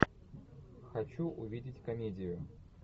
хочу увидеть комедию